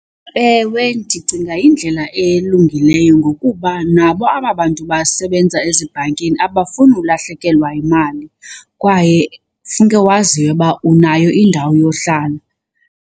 Ewe, ndicinga yindlela elungileyo ngokuba nabo aba bantu basebenza ezibhankini abafuni ulahlekelwa yimali kwaye funeke waziwe uba unayo indawo yohlala.